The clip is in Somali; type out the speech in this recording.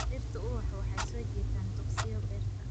Dhirtu ubaxu waxay soo jiitaan duqsiyo beerta.